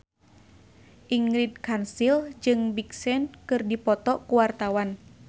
Ingrid Kansil jeung Big Sean keur dipoto ku wartawan